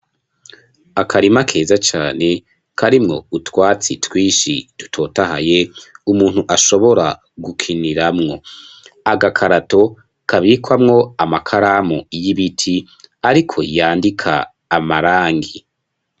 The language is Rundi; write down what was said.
Akarima keza cane, karimwo utwatsi twishi, dutotahaye, umuntu ashobora gukiniramwo; agakarato, kabikwamwo amakaramu y'ibiti, ariko yandika amarangi.